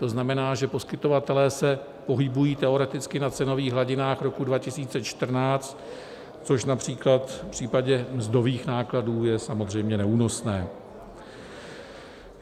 To znamená, že poskytovatelé se pohybují teoreticky na cenových hladinách roku 2014, což například v případě mzdových nákladů je samozřejmě neúnosné.